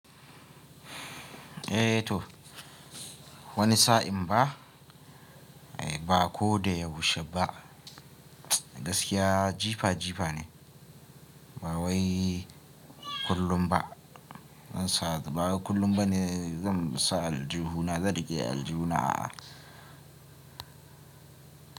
Eh toh wani sa'in ba, ba ko da ya bushe ba. Gaskiya jifa jifa ne. Ba wai kullum ba. Ba wai kullum ba ne zan sa aljihu na, zan riƙe aljihu a'a.